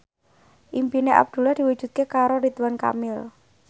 impine Abdullah diwujudke karo Ridwan Kamil